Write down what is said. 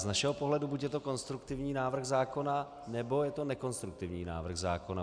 Z našeho pohledu buď je to konstruktivní návrh zákona, nebo je to nekonstruktivní návrh zákona.